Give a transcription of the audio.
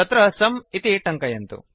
तत्र सुं इति टङ्कयन्तु